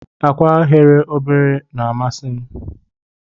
Akwa eghe obere na amasim.